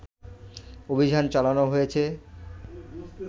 অভিযান চালানো হয়েছে